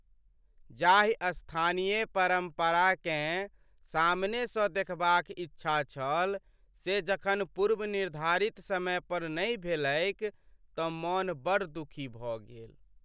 जाहि स्थानीय परम्पराकेँ सामनेसँ देखबाक इच्छा छल से जखन पूर्वनिर्धारित समय पर नहि भेलैक तँ मन बड़ दुखी भऽ गेल।